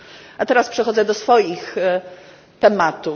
A teraz przechodzę do swoich tematów.